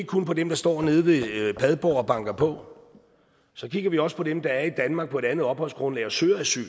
kun på dem der står nede ved padborg og banker på så kigger vi også på dem der er i danmark på et andet opholdsgrundlag og søger asyl